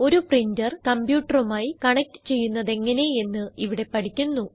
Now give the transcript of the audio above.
ഒരു പ്രിന്റർ കംപ്യൂട്ടറുമായി കണക്റ്റ് ചെയ്യുന്നതെങ്ങനെ എന്ന് ഇവിടെ പഠിക്കുന്നു